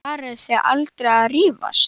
Farið þið aldrei að rífast?